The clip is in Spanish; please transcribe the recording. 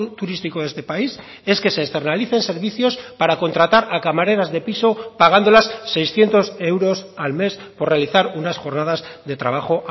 turístico de este país es que se externalicen servicios para contratar a camareras de piso pagándolas seiscientos euros al mes por realizar unas jornadas de trabajo